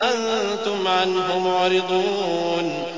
أَنتُمْ عَنْهُ مُعْرِضُونَ